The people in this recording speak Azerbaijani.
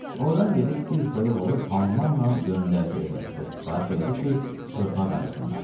Ordan gedib bir toyuq alıb hammalla göndərdi evə və sifariş elədi ki, çığırtma qayırsınlar.